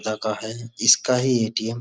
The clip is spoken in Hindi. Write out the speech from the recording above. लगा है। इसका ही ए.टी.एम. --